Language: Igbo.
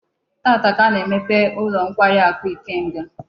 Taata ka a na-emepe ulo nkwari aku Ikenga